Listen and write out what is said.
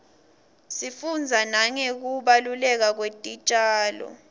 sifundza nangekubaluleka kwetitjalo